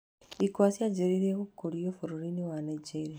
Ikwa cianjĩrĩirie gũkũrio bũrũri-inĩ wa Nigeria.